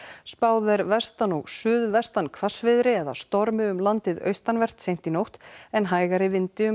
spáð er vestan og suðvestan hvassviðri eða stormi um landið austanvert seint í nótt en hægari vindi um